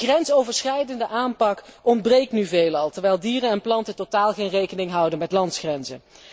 Een grensoverschrijdende aanpak ontbreekt nu veelal, terwijl dieren en planten totaal geen rekening houden met landsgrenzen.